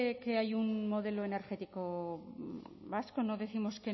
que hay un modelo energético vasco no décimos